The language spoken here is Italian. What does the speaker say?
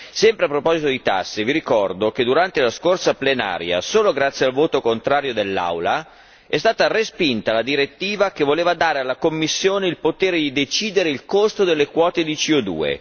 Sempre a proposito di tasse, vi ricordo che, durante la scorsa plenaria, solo grazie al voto contrario dell'Aula, è stata respinta la direttiva che voleva dare alla Commissione il potere di decidere il costo delle quote di CO